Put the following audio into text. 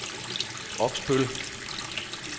Oksbøl